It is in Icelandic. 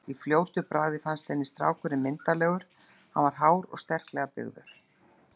Í fljótu bragði fannst henni strákurinn myndarlegur, hann var hár og sterklega byggður.